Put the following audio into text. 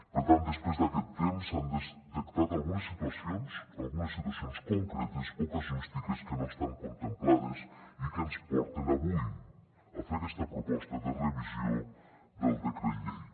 per tant després d’aquest temps s’han detectat algunes situacions concretes o casuístiques que no estan contemplades i que ens porten avui a fer aquesta proposta de revisió del decret llei